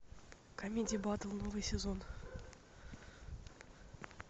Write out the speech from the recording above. камеди батл новый сезон